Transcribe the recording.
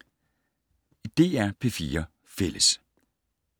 DR P4 Fælles